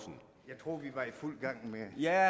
jeg